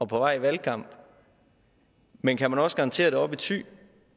på vej i valgkamp men kan man også garantere det oppe i thy